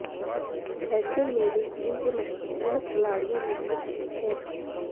ऐसे में वे टीम के महत्वपूर्ण खिलाड़ियों में से एक हैं